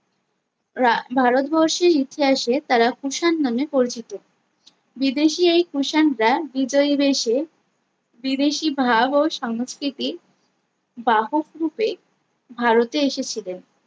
রা ভারতবর্ষের ইতিহাসে তারা কুষাণ নামে পরিচিত বিদেশী এই কুষাণরা বিতই বেসে বিদেশী ভাব ও সংস্কৃতি বাহক রূপে ভারতে এসেছিলেন